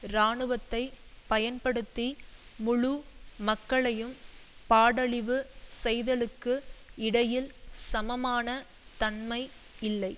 இராணுவத்தை பயன்படுத்தி முழு மக்களையும் பாடழிவு செய்தலுக்கும் இடையில் சமமான தன்மை இல்லை